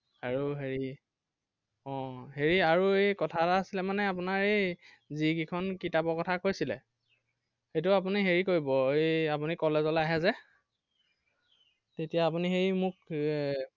আৰু হেৰি, আহ হেৰি আৰু এৰ কথা এটা আছিলে মানে আপোনাৰ এই যি কেইখন কিতাপৰ কথা কৈছিলে। সেইটো আপুনি হেৰি কৰিব আপুনি এৰ college লৈ আহে যে তেতিয়া আপুনি সেই মোক এৰ